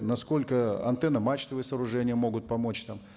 насколько антенно мачтовые сооружения могут помочь там